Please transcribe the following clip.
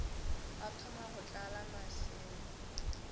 ba thoma go tlala maseme